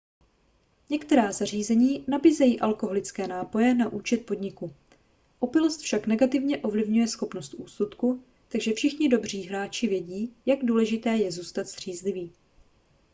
některá zařízení nabízejí alkoholické nápoje na účet podniku opilost však negativně ovlivňuje schopnost úsudku takže všichni dobří hráči vědí jak důležité je zůstat střízlivý